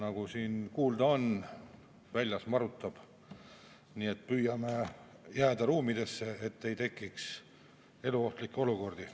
Nagu siin kuulda on, väljas on maru, nii et püüame jääda siseruumidesse, et ei tekiks eluohtlikke olukordi.